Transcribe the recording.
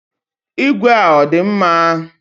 Ìgwè a ọ dị mma?